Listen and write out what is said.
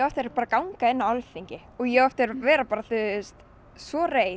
bara ganga inn á Alþingi og ég á eftir að vera svo reið